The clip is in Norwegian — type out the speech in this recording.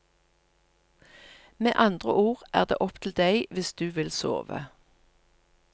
Med andre ord er det opp til deg hvis du vil sove.